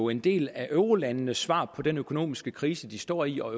en del af eurolandenes svar på den økonomiske krise de står i og